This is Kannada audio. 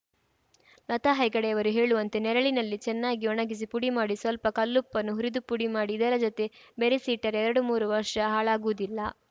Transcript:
ಲತಾ ಹೆಗಡೆಯವರು ಹೇಳುವಂತೆನೆರಳಿನಲ್ಲಿ ಚೆನ್ನಾಗಿ ಒಣಗಿಸಿ ಪುಡಿ ಮಾಡಿ ಸ್ವಲ್ಪ ಕಲ್ಲುಪ್ಪನ್ನು ಹುರಿದು ಪುಡಿ ಮಾಡಿ ಇದರ ಜೊತೆ ಬೆರೆಸಿ ಇಟ್ಟರೆ ಎರಡು ಮೂರು ವರ್ಷ ಹಾಳಾಗುವುದಿಲ್ಲ